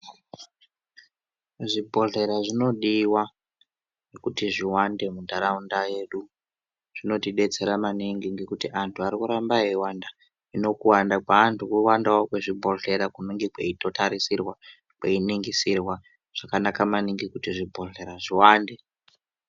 Zvibhodhlera zvinodiwa kuti zviwande muntaraunda yedu zvinotidetsera maningi ngekuti antu arikuramba eiwanda hino kuwanda kweantu kuwandawo kwezvibhodhlera kunenge kweitotarisirwa kweiningisirwa, zvakanaka maningi kuti zvibhodhlera zviwande.